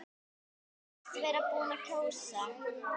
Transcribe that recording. Sagðist vera búinn að kjósa.